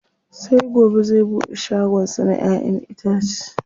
Sai gobe zai buɗe shagon sa na ƴa'ƴan itace.